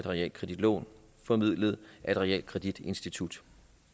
realkreditlån formidlet af et realkreditinstitut